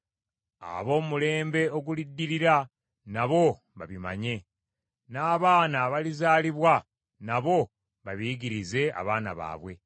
ab’omu mulembe oguliddirira nabo babimanye, n’abaana abalizaalibwa, nabo babiyigirize abaana baabwe,